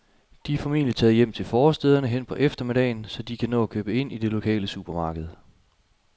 De er formentlig taget hjem til forstæderne hen på eftermiddagen, så de kan nå at købe ind i det lokale supermarked.